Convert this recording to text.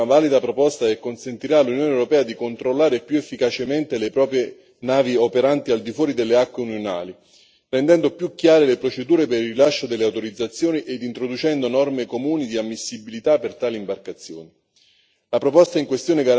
Penso che la Commissione abbia avanzato una valida proposta che consentirà all'Unione europea di controllare più efficacemente le proprie navi operanti al di fuori delle acque unionali, rendendo più chiare le procedure per il rilascio delle autorizzazioni ed introducendo norme comuni di ammissibilità per tali imbarcazioni.